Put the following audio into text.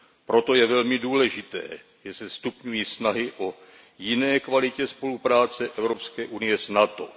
Proto je velmi důležité, že se stupňují snahy o jinou kvalitu spolupráce Evropské unie s NATO.